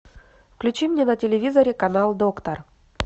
включи мне на телевизоре канал доктор